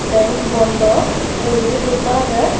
benk bondo uguredi postar agey.